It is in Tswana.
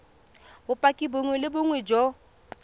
bopaki bongwe le bongwe jo